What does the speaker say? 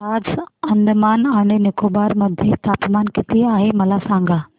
आज अंदमान आणि निकोबार मध्ये तापमान किती आहे मला सांगा